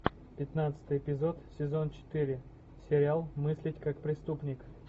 пятнадцатый эпизод сезон четыре сериал мыслить как преступник